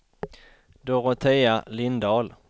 Dorotea Lindahl